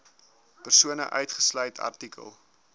persone uitgesluit artikel